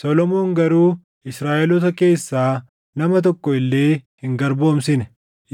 Solomoon garuu Israaʼeloota keessaa nama tokko illee hin garboomsine;